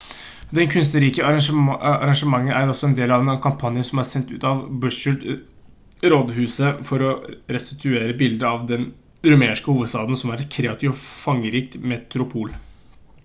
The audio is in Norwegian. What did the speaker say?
det kunstneriske arrangementet er også en del av en kampanje som er sendt ut av bucharest-rådhuset for å restituere bildet av den rumenske hovedstaden som et kreativt og fargerikt metropol